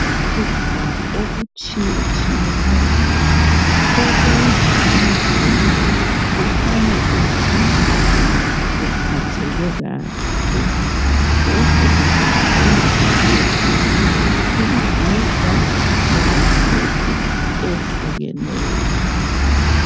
Ukudla okutshiye tshiyeneyo okwenza umzimba uhlale uqinile uphatheke kahle lokhu kugoqela ukudla imibhida lama frutsi ehlukeneyo.